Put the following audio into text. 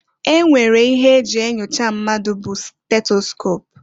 E nwere ife e ji enyocha mmadụ bụ stetoscop.